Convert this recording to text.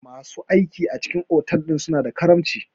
Masu aiki a cikin otal suna da karamci.